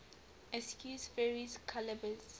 equus ferus caballus